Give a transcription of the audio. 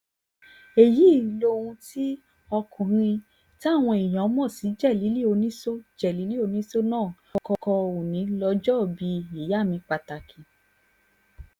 èyí lohun tí ọkùnrin táwọn èèyàn mọ̀ sí jélílì onísọ jélílì onísọ náà kọ́ òní lójoòbí ìyá mi pàtàkì